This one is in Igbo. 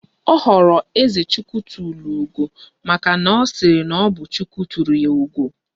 Ọ họrọ "Ezechitulugo" maka na ọ sịrị na ọ bụ "Chukwu tụrụ ya ugo"